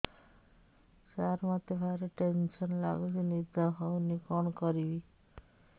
ସାର ମତେ ଭାରି ଟେନ୍ସନ୍ ଲାଗୁଚି ନିଦ ହଉନି କଣ କରିବି